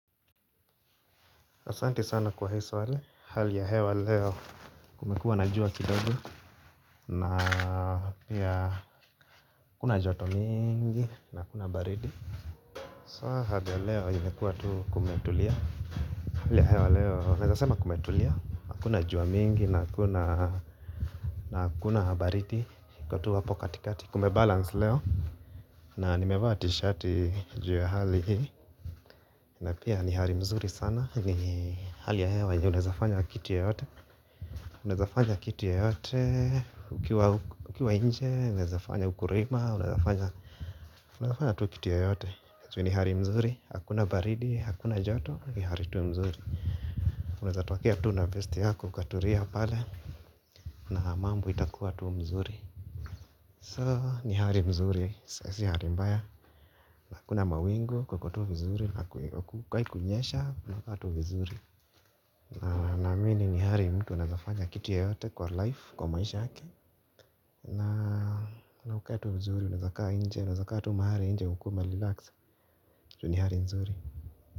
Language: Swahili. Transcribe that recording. Asanti sana kwa hii swali hali ya hewa leo kumekua na jua kidogo na pia kuna joto mingi na kuna baridi So hali ya hewa leo imekuwa tu kumetulia. Hali ya hewa leo naezasema kumetulia, hakuna jua mingi na hakuna baridi iko tu hapo katikati. Kume balance leo na nimevaa tishati ju ya hali na pia ni hali mzuri sana ni hali ya hewa yenye unaezafanya kitu yoyote unazafanya kiti ya yote ukiwa inje unaezafanya ukulima unaezafanya tu kitu yoyote ju ni hali mzuri hakuna baridi, hakuna joto ni hali tu mzuri unaezatokea tu na vesti yako ukatulia pale na mambo itakuwa tu mzuri so ni hali mzuri si hali mbaya hakuna mawingu kukotu vizuri hakukai kunyesha kunakaa tu vizuri. Na naamini ni hali mtu anaezafanya kitu yoyote kwa life kwa maisha yake. Na wakati mzuri unaezakaa inje unazakaa tu mahali inje ukiwa umerelax. Ju ni hali nzuri.